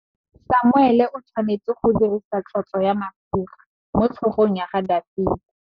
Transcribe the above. Samuele o tshwanetse go dirisa tlotsô ya mafura motlhôgong ya Dafita.